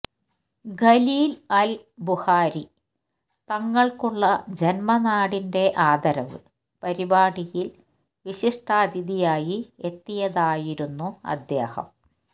ഖലീല് അല് ബുഖാരി തങ്ങള്ക്കുള്ള ജന്മനാടിന്റെ ആദരവ് പരിപാടിയില് വിശിഷ്ടാതിഥിയായി എത്തിയതായിരുന്നു അദ്ദേഹം